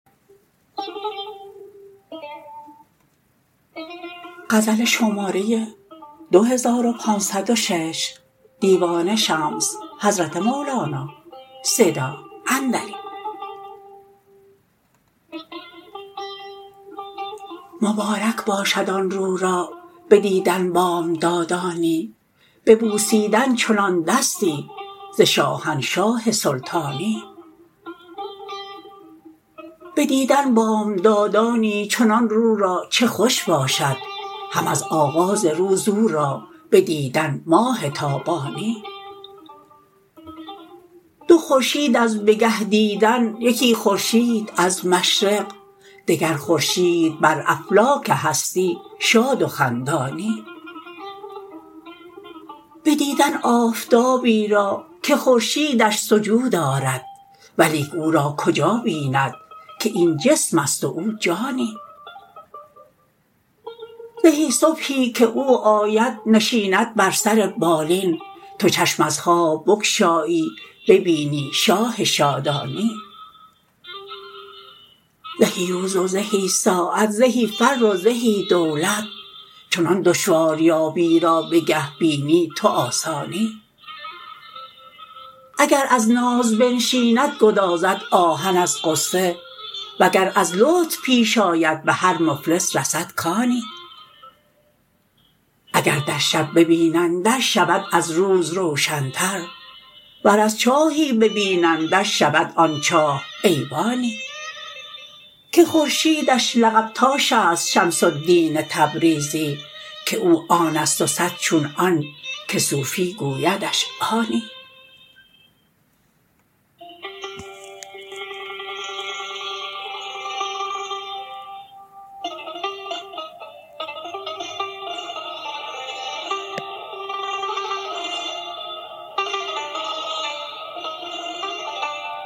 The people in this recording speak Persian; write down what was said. مبارک باشد آن رو را بدیدن بامدادانی به بوسیدن چنان دستی ز شاهنشاه سلطانی بدیدن بامدادانی چنان رو را چه خوش باشد هم از آغاز روز او را بدیدن ماه تابانی دو خورشید از بگه دیدن یکی خورشید از مشرق دگر خورشید بر افلاک هستی شاد و خندانی بدیدن آفتابی را که خورشیدش سجود آرد ولیک او را کجا بیند که این جسم است و او جانی زهی صبحی که او آید نشیند بر سر بالین تو چشم از خواب بگشایی ببینی شاه شادانی زهی روز و زهی ساعت زهی فر و زهی دولت چنان دشواریابی را بگه بینی تو آسانی اگر از ناز بنشیند گدازد آهن از غصه وگر از لطف پیش آید به هر مفلس رسد کانی اگر در شب ببینندش شود از روز روشنتر ور از چاهی ببینندش شود آن چاه ایوانی که خورشیدش لقب تاش است شمس الدین تبریزی که او آن است و صد چون آن که صوفی گویدش آنی